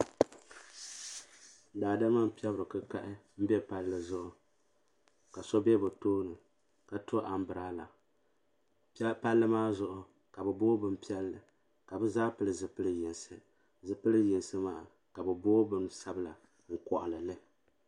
Daadama m pɛbri kikahi m be palli zuɣu ka so be bɛ tooni ka to ambilada palli maa zuɣu ka bɛ boogi bini piɛlli ka bɛ zaa pili zipili yinsi zipili yinsi maa ka bɛ boogi bin'sabla n koɣali li.